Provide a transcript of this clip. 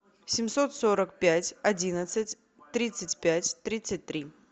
семьсот сорок пять одиннадцать тридцать пять тридцать три